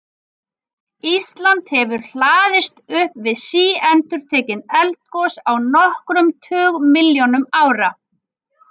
Ísland hefur hlaðist upp við síendurtekin eldgos á nokkrum tugmilljónum ára.